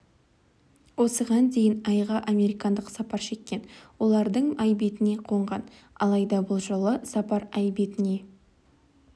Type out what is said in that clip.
осыған дейін айға американдық сапар шеккен олардың ай бетіне қонған алайда бұл жолғы сапар ай бетіне